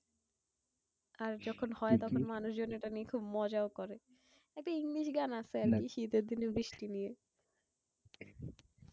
আর যখন হয় তখন মানুষজন এটা নিয়ে খুব মজা ও করে। একটা ইংরেজি গান আছে আর কি শীতের দিনে বৃষ্টি নিয়ে।